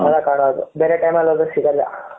ಅವು ಎಲ್ಲ ಕಾಣದು ಬೇರೆ time ಅಲ್ಲಿ ಹೋದ್ರೆ ಸಿಗಲ್ಲ